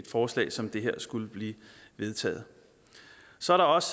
forslag som det her skulle blive vedtaget så er der også